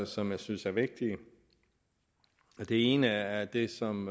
som jeg synes er vigtige det ene er det som